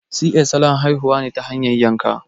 Si ƴes' salon haihuwa ne ta hanyar yanka